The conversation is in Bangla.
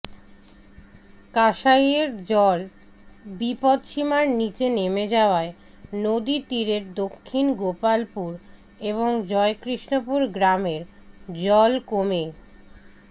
কাঁসাইয়ের জল বিপদসীমার নীচে নেমে যাওয়ায় নদী তীরের দক্ষিণ গোপালপুর এবং জয়কৃষ্ণপুর গ্রামের জল কমে